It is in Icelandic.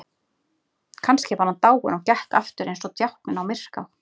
Kannski var hann dáinn og gekk aftur eins og djákninn á Myrká.